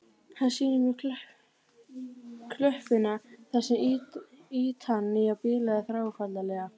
Hann sýnir mér klöppina þar sem ýtan nýja bilaði þráfaldlega.